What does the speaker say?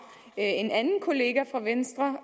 en anden kollega fra venstre